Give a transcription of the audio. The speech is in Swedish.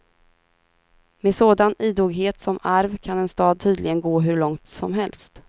Med sådan idoghet som arv kan en stad tydligen gå hur långt som helst.